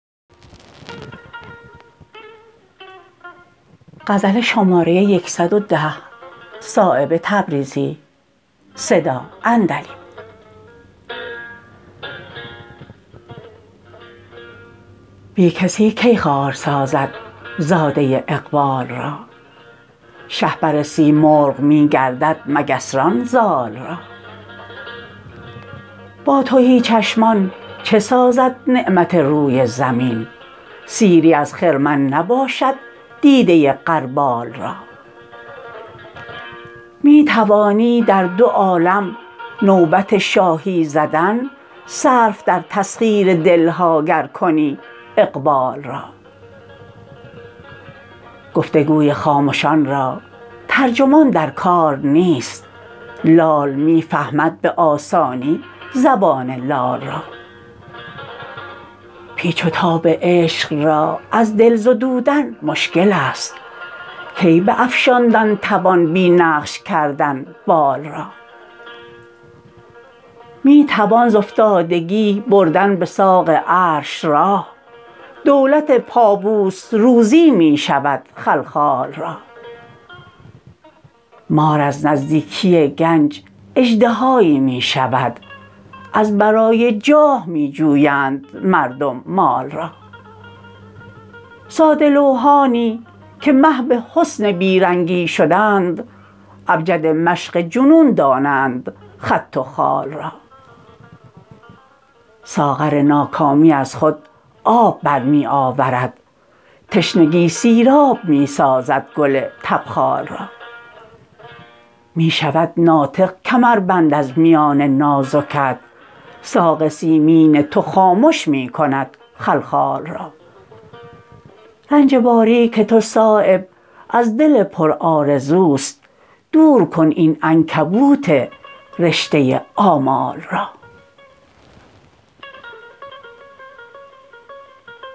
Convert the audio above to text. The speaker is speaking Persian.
بی کسی کی خوار سازد زاده اقبال را شهپر سیمرغ می گردد مگس ران زال را با تهی چشمان چه سازد نعمت روی زمین سیری از خرمن نباشد دیده غربال را می توانی در دو عالم نوبت شاهی زدن صرف در تسخیر دل ها گر کنی اقبال را گفتگوی خامشان را ترجمان در کار نیست لال می فهمد به آسانی زبان لال را پیچ و تاب عشق را از دل زدودن مشکل است کی به افشاندن توان بی نقش کردن بال را می توان زافتادگی بردن به ساق عرش راه دولت پابوس روزی می شود خلخال را مار از نزدیکی گنج اژدهایی می شود از برای جاه می جویند مردم مال را ساده لوحانی که محو حسن بی رنگی شدند ابجد مشق جنون دانند خط و خال را ساغر ناکامی از خود آب برمی آورد تشنگی سیراب می سازد گل تبخال را می شود ناطق کمربند از میان نازکت ساق سیمین تو خامش می کند خلخال را رنج باریک تو صایب از دل پرآرزوست دور کن این عنکبوت رشته آمال را